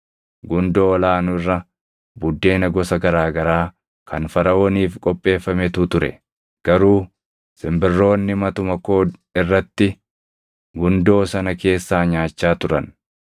Gundoo ol aanu irra buddeena gosa garaa garaa kan Faraʼooniif qopheeffametu ture; garuu simbirroonni matuma koo irratti gundoo sana keessaa nyaachaa turan.”